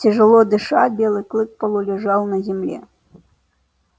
тяжело дыша белый клык полулежал на земле